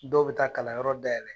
Dɔw be taa kalanyɔrɔ dayɛlɛ